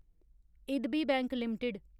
IDBI bank limited